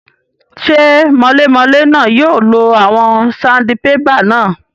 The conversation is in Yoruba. Ṣé mọlémọlé náà yóò lo àwọn sandibébà náà?